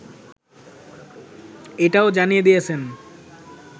এটাও জানিয়ে দিয়েছেন